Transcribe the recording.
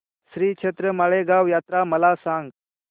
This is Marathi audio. श्रीक्षेत्र माळेगाव यात्रा मला सांग